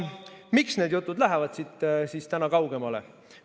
Miks need jutud lähevad täna siit kaugemale?